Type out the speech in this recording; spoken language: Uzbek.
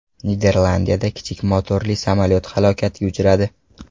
Niderlandiyada kichik motorli samolyot halokatga uchradi.